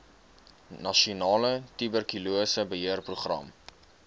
nasionale tuberkulose beheerprogram